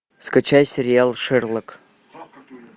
скачай сериал шерлок